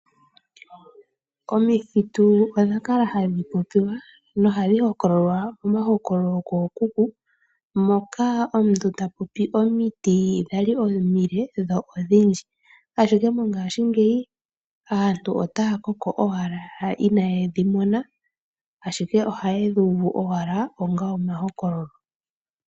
Omithitu odha kala hadhi popiwa nohadhi hokololwa momahokololo kookuku moka omuntu ta popi omiti dhali omile dho ominene ihe aantu yopaife otaya koko owala inayedhi mona.